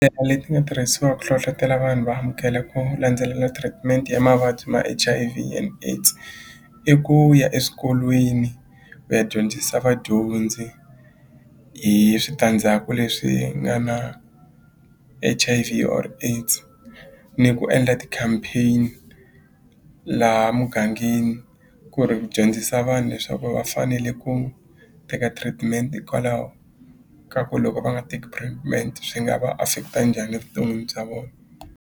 leti nga tirhisiwa ku hlohlotela vanhu va amukela ku landzelela treatment ya mavabyi ma H_I_V and AIDS i ku ya eswikolweni ku ya dyondzisa vadyondzi hi switandzhaku leswi nga na H_I_V or AIDS ni ku endla ti-campaign laha mugangeni ku ri ku dyondzisa vanhu leswaku va fanele ku teka treatment hikwalaho ka ku loko va nga teki treatment swi nga va affect-a njhani vuton'wini bya .